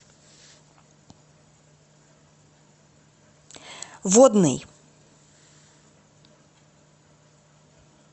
водный